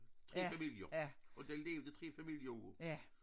3 familier og det levede 3 familier af